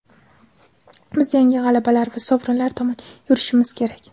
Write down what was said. Biz yangi g‘alabalar va sovrinlar tomon yurishimiz kerak.